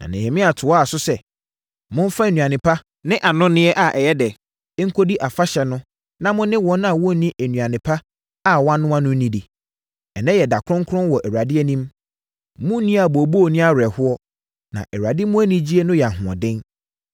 Na Nehemia toaa so sɛ, “Momfa nnuane pa ne anonneɛ a ɛyɛ dɛ nkɔdi afahyɛ no na mo ne wɔn a wɔnni nnuane pa a wɔanoa no nnidi. Ɛnnɛ yɛ da kronkron wɔ Awurade anim. Monnni abooboo ne awerɛhoɔ, na Awurade mu anigyeɛ no yɛ ahoɔden.”